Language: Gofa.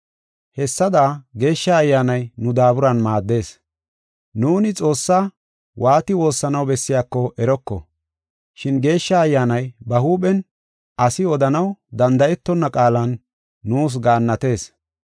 Hessada Geeshsha Ayyaanay nu daaburan maaddees. Nuuni Xoossaa waati woossanaw bessiyako eroko, shin Geeshsha Ayyaanay ba huuphen, asi odanaw danda7etonna qaalan nuus gaannatees.